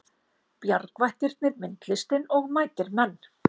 Bjargvættirnir myndlistin og mætir menn